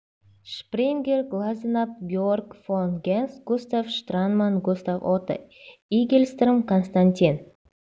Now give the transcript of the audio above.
шпрингер глаззенаб георг фон генс густав штранман густав отто игельстром константин